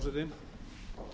virðulegi forseti á